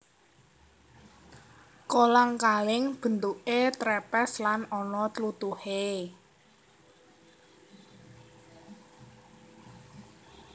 Kolang kaling bentuké trepes lan ana tlutuhe